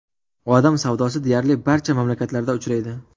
Odam savdosi deyarli barcha mamlakatlarda uchraydi.